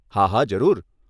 હા, હા, જરૂર.